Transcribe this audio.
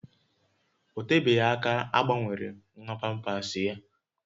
Ọ tebeghị aka a gbanwere nwa pampasị ya